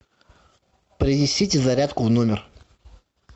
принесите зарядку в номер